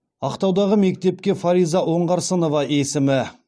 ақтаудағы мектепке фариза оңғарсынова есімі